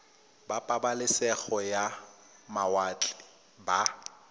ba pabalesego ya mawatle ba